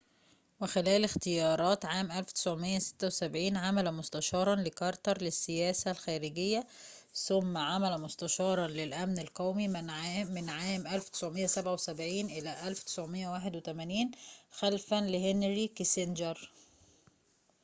وخلال اختيارات عام 1976 عمل مستشارًا لكارتر للسياسة الخارجية ثم عمل مستشارًا للأمن القومي من عام 1977 إلى عام 1981 خلفًا لهنري كيسنجر